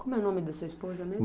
Como é o nome da sua esposa mesmo?